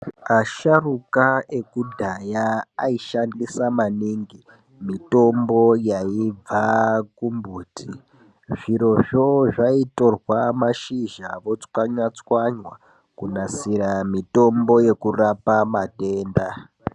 Asharuka ekudhaya aishandisa maningi mitombo yaibva kumbuti, zviro zvoo zvaitorqa mashizha votswanya tswanya kunasira mitombo yekurapa matenda.